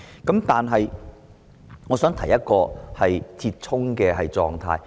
然而，我想提出一個折衷的做法。